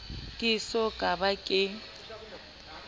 ke eso ka ba ke